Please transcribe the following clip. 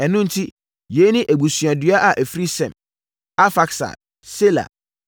Ɛno enti, yei ne abusuadua a ɛfiri Sem: Arfaksad, Sela,